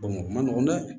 o ma nɔgɔn dɛ